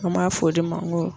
An b'a fɔ o de ma n ko